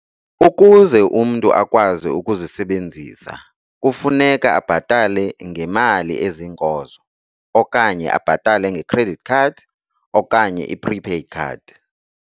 Ukuze umntu akwazi ukuzisebenzisa, kufuneka abhatale ngemali eziinkozo, okanye abhatale nge'credit' khadi, okanye i-'prepaid card'